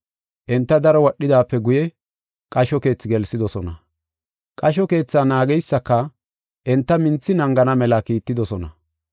Enta daro wadhidaape guye, qasho keethi gelsidosona. Qasho keethaa naageysika enta minthi naagana mela kiittidosona.